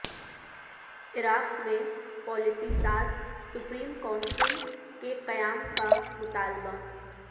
عراق میں پالیسی ساز supreme council کے قیام کا مطالبہ